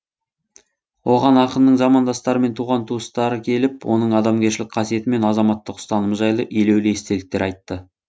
оған ақынның замандастары мен туған туыстары келіп оның адамгершілік қасиеті мен азаматтық ұстанымы жайлы елеулі естеліктер айтты